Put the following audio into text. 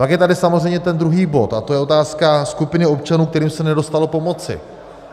Pak je tady samozřejmě ten druhý bod a to je otázka skupiny občanů, kterým se nedostalo pomoci.